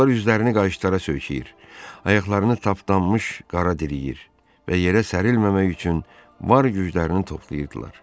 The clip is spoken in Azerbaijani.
Onlar üzlərini qayışlara söykəyir, ayaqlarını tapdanmış qara diləyir və yerə sərilməmək üçün var güclərini toplayırdılar.